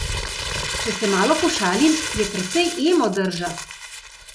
Če se malo pošalim, je precej emo drža?